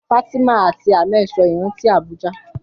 Fatima àti Ahmed sọ ìrántí Abuja.